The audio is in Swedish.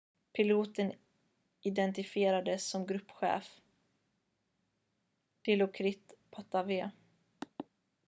piloten identifierades som gruppchef dilokrit pattavee